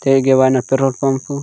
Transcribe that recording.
तय गेवा न पेट्रोल पंपू --